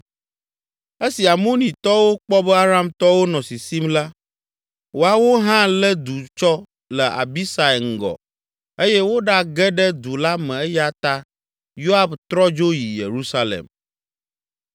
Esi Amonitɔwo kpɔ be Aramtɔwo nɔ sisim la, woawo hã lé du tsɔ le Abisai ŋgɔ eye woɖage ɖe du la me eya ta Yoab trɔ dzo yi Yerusalem.